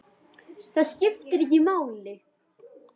Það eitt skipti máli.